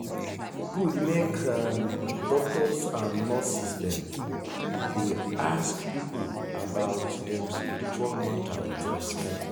e good make um doctors and nurses um dey ask people about dem spiritual matter wit respect.